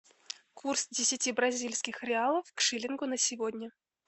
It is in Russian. курс десяти бразильских реалов к шиллингу на сегодня